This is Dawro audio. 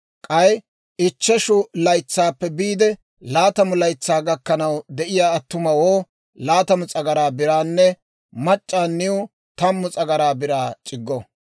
K'ay ichcheshu laytsaappe biide laatamu laytsaa gakkanaw de'iyaa attumawoo laatamu s'agaraa biraanne mac'c'aaniw tammu s'agaraa biraa c'iggo.